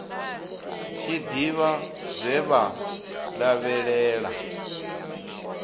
tshi ḓivha zwe vha lavhelela